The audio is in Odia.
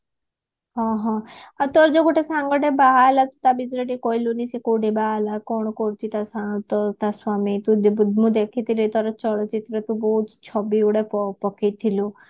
ହଁ ହଁ ଆଉ ତୋର ଯୋଉ ଗୋଟେ ସାଙ୍ଗଟେ ବାହାହେଲା ଟା ବିଷୟରେ ଟିକେ କହିଲୁନି ସେ କୋଉଠି ବାହାହେଲା କଣ କରୁଛି ଟା ସ୍ଵାମୀ ତ ଟା ସ୍ଵାମୀ ମୁଁ ଦେଖିଥିଲି ଥରେ ଚଳଚିତ୍ରରୁ ବହୁତ ଛବିଗୁଡାକ ପଠେଇ ଥିଲୁ